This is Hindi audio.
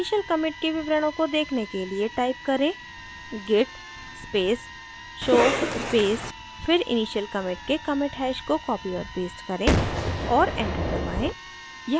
initial commit के विवरणों को देखने के लिए type करें: git space show space फिर initial commit के commit hash को copy और paste करें और enter दबाएँ